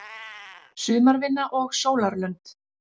Sumarvinna og sólarlönd